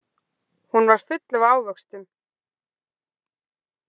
Hún var full af ávöxtum.